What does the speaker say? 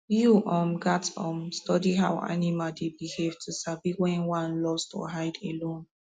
you um gats um study how animal dey behave to sabi when one lost or hide alone